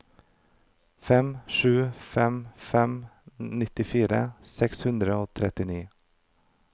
fem sju fem fem nittifire seks hundre og trettini